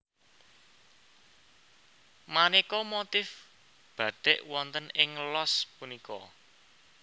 Manéka motif batik wonten ing los punika